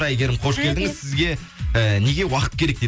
әйгерім қош келдіңіз сізге і неге уақыт керек дейді